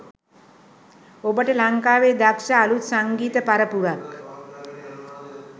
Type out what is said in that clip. ඔබට ලංකාවේ දක්ෂ අලුත් සංගීත පරපුරක්